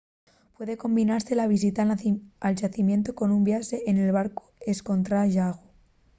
puede combinase la visita al xacimientu con un viaxe en barcu escontra’l llagu